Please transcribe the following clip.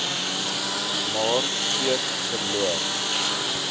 maar steeds verloor